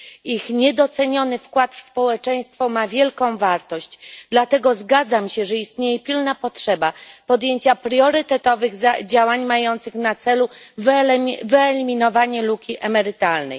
Ich niedoceniony wkład w społeczeństwo ma wielką wartość. Dlatego zgadzam się, że istnieje pilna potrzeba podjęcia priorytetowych działań mających na celu wyeliminowanie luki emerytalnej.